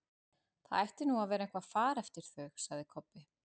Það ætti nú að vera eitthvað far eftir þau, sagði Kobbi.